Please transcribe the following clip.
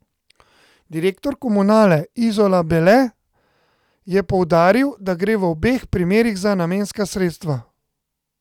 Direktor Komunale Izola Bele je poudaril, da gre v obeh primerih za namenska sredstva.